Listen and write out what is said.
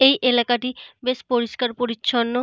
এই এলাকাটা টি বেশ পরিষ্কার পরিছন্ন।